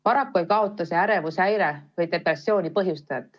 Paraku ei kaota see ärevushäire või depressiooni põhjustajat.